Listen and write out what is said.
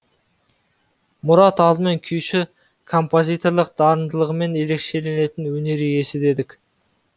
мұрат алдымен күйші композиторлық дарындылығымен ерекшеленетін өнер иесі дедік